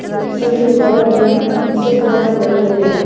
उम्म सीढी के बगल में सो प्लांट भी लगे हुँए है।